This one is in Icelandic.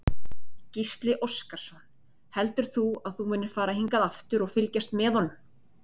Gísli Óskarsson: Heldur þú að þú munir fara hingað aftur og fylgjast með honum?